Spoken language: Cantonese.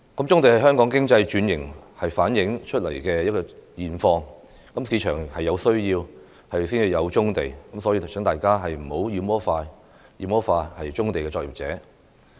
棕地是香港經濟轉型衍生出來的現況，市場有需要才有棕地，所以請大家不要妖魔化棕地作業者。